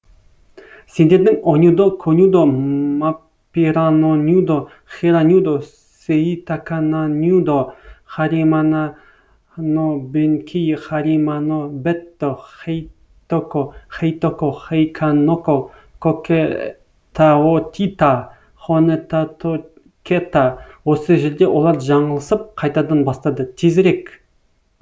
сендердің онюдо конюдо маппиранонюдо хиранюдо сэйтаканонюдо хариманонобэнкэй хариманобэтто хэйтоко хэйтоко хэйканоко кокэтаотита хонэтатокэта осы жерде олар жаңылысып қайтадан бастады тезірек